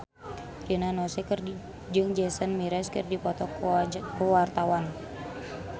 Rina Nose jeung Jason Mraz keur dipoto ku wartawan